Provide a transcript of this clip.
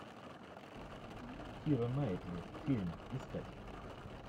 кира найтли фильм искать